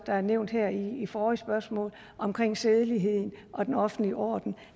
er nævnt her i forrige spørgsmål omkring sædelighed og den offentlige orden